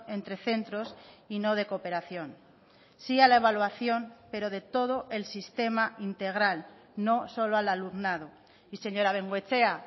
entre centros y no de cooperación sí a la evaluación pero de todo el sistema integral no solo al alumnado y señora bengoechea